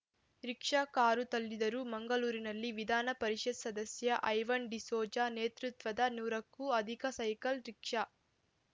rickshaw car ತಳ್ಳಿದರು ಮಂಗಳೂರಿನಲ್ಲಿ ವಿಧಾನ ಪರಿಷತ್‌ ಸದಸ್ಯ ಐವನ್‌ ಡಿಸೋಜ ನೇತೃತ್ವದ ನೂರಕ್ಕೂ ಅಧಿಕ ಸೈಕಲ್‌ ರಿಕ್ಷಾ